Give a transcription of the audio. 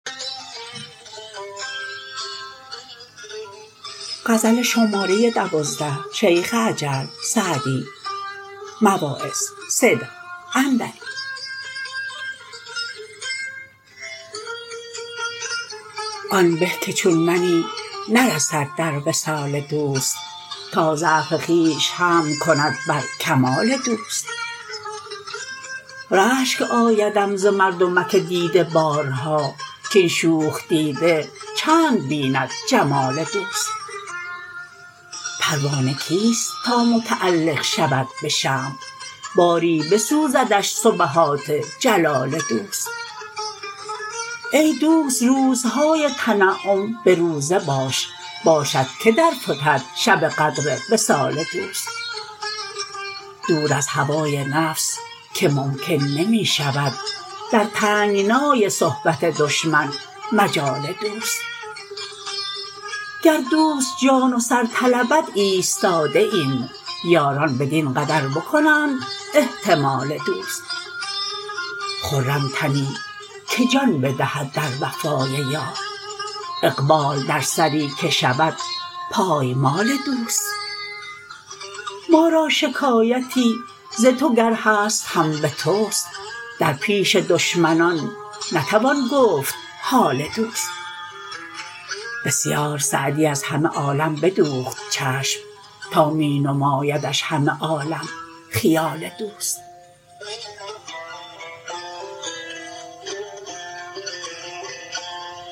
آن به که چون منی نرسد در وصال دوست تا ضعف خویش حمل کند بر کمال دوست رشک آیدم ز مردمک دیده بارها کاین شوخ دیده چند ببیند جمال دوست پروانه کیست تا متعلق شود به شمع باری بسوزدش سبحات جلال دوست ای دوست روزهای تنعم به روزه باش باشد که در فتد شب قدر وصال دوست دور از هوای نفس که ممکن نمی شود در تنگنای صحبت دشمن مجال دوست گر دوست جان و سر طلبد ایستاده ایم یاران بدین قدر بکنند احتمال دوست خرم تنی که جان بدهد در وفای یار اقبال در سری که شود پایمال دوست ما را شکایتی ز تو گر هست هم به توست در پیش دشمنان نتوان گفت حال دوست بسیار سعدی از همه عالم بدوخت چشم تا می نمایدش همه عالم خیال دوست